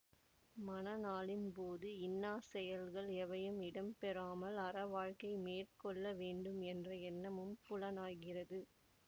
மண நாளின் போது இன்னா செயல்கள் எவையும் இடம் பெறாமல் அறவாழ்க்கை மேற்கொள்ள வேண்டும் என்ற எண்ணமும் புலனாகிறது